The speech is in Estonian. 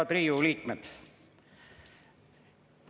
Head Riigikogu liikmed!